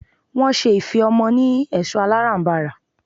Wọ́n ṣe ife ọmọ ni ẹ̀ṣọ́ alárànbarà.